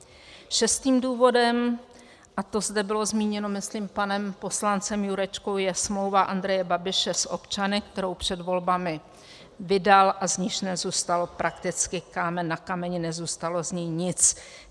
Šestým důvodem, a to zde bylo zmíněno myslím panem poslancem Jurečkou, je smlouva Andreje Babiše s občany, kterou před volbami vydal a z níž nezůstal prakticky kámen na kameni, nezůstalo z ní nic.